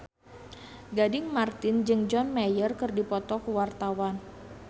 Gading Marten jeung John Mayer keur dipoto ku wartawan